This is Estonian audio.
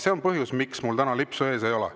See on põhjus, miks mul täna lipsu ees ei ole.